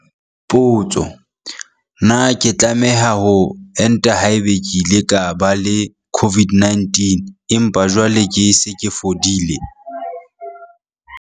Potso- Na ke tlameha ho enta haeba ke ile ka ba le COVID-19 empa jwale ke se ke fodile?